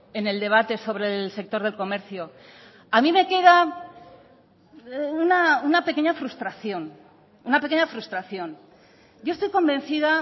en el debate sobre el sector del comercio a mí me queda una pequeña frustración una pequeña frustración yo estoy convencida